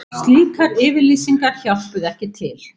Slíkar yfirlýsingar hjálpuðu ekki til